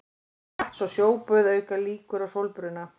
Vatns- og sjóböð auka líkur á sólbruna.